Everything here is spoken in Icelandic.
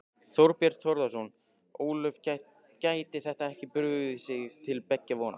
Þorbjörn Þórðarson: Ólöf, gæti þetta ekki brugðið til beggja vona?